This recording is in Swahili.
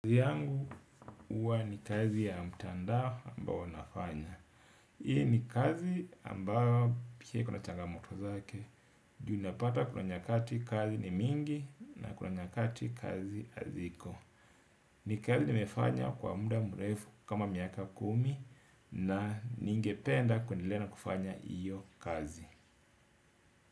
Kazi yangu huwa ni kazi ya mtandao ambao nafanya. Hii ni kazi ambao pia ikona changamoto zake. Juu ninapata kuna nyakati kazi ni mingi na kuna nyakati kazi haziko. Ni kazi nimefanya kwa muda mrefu kama miaka kumi. Na ningependa kuendelea na kufanya hiyo kazi.